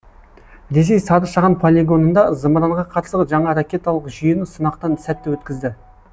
ресей сары шаған полигонында зымыранға қарсы жаңа ракеталық жүйені сынақтан сәтті өткізді